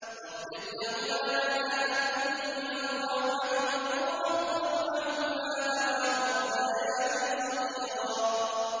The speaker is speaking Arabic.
وَاخْفِضْ لَهُمَا جَنَاحَ الذُّلِّ مِنَ الرَّحْمَةِ وَقُل رَّبِّ ارْحَمْهُمَا كَمَا رَبَّيَانِي صَغِيرًا